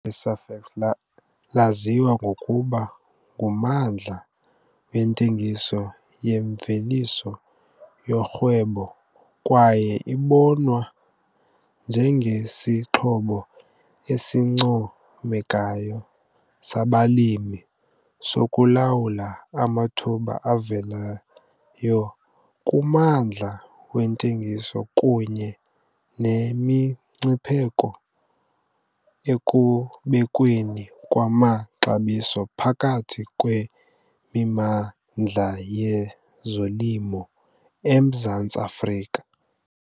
le-SAFEX laziwa ngokuba ngummandla wentengiso yemveliso yorhwebo kwaye ibonwa njengesixhobo esincomekayo sabalimi sokulawula amathuba avelayo kummandla wentengiso kunye nemingcipheko ekubekweni kwamaxabiso phakathi kwemimandla yezolimo eMzantsi Afrika.